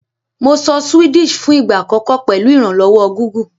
Mo sọ Swedish fún ìgbà àkọ́kọ́ pèlu ìrànlówó Google